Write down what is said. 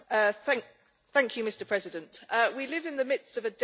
Mr President, we live in the midst of a data revolution.